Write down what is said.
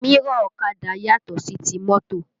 Mírọ̀ ọ̀kadà yàtò sí ti mọ́tò